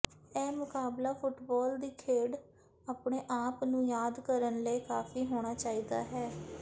ਇਹ ਮੁਕਾਬਲਾ ਫੁੱਟਬਾਲ ਦੀ ਖੇਡ ਆਪਣੇ ਆਪ ਨੂੰ ਯਾਦ ਕਰਨ ਲਈ ਕਾਫ਼ੀ ਹੋਣਾ ਚਾਹੀਦਾ ਹੈ